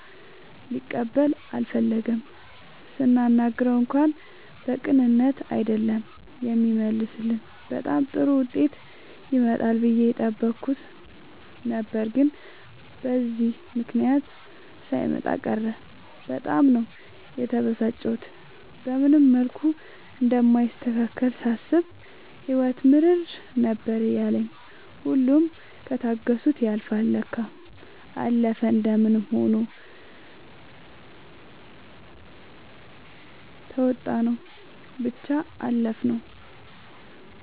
ሊቀበል አልፈለገም ስናናግረው እንኳን በቅንነት አይደለም የሚመልስልን በጣም ጥሩ ዉጤት ይመጣል ብዬ የጠበኩት ነበር ግን በዚህ ምክንያት ሳይመጣ ቀረ በጣም ነው የተበሳጨሁት። በምንም መልኩ እንደማይስተካከልልኝ ሳስብ ህይወት ምርር ነበር ያለኝ ሁሉም ከታገሱት ያልፍል ለካ። አለፈ እንደምንም ሆኖ ተዉጣንው ብቻ አለፍነው።